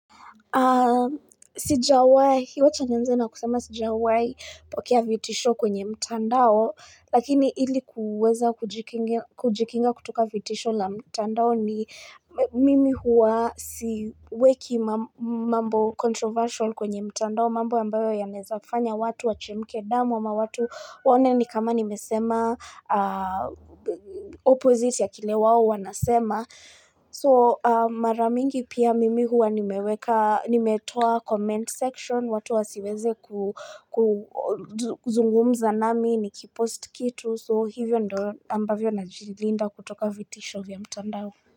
Sijawai, hiyo acha nianze na kusema sijawai pokea vitisho kwenye mtandao, lakini hili kuweza kujikinga kutoka vitisho la mtandao ni mimi hua siweki mambo controversial kwenye mtandao, mambo ambayo ya nezafanya watu, wachemke damu, ma watu waone ni kama nimesema opposite ya kile wao wanasema. So maramingi pia mimi huwa nimeweka nimetoa comment section watu wasiweze kuzungumza nami ni ki post kitu so hivyo ndo ambavyo na jilinda kutoka vitisho vya mtandao.